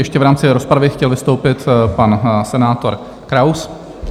Ještě v rámci rozpravy chtěl vystoupit pan senátor Kraus.